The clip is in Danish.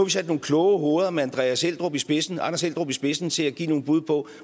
sat nogle kloge hoveder med anders eldrup i spidsen spidsen til at give nogle bud på